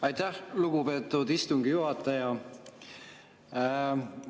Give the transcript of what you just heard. Aitäh, lugupeetud istungi juhataja!